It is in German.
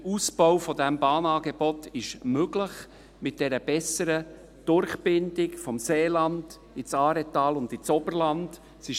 Der Ausbau dieses Bahnangebots ist mit einer besseren Durchbindung des Seelandes ins Aaretal und ins Oberland möglich.